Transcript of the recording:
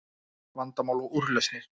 Vandamál og Úrlausnir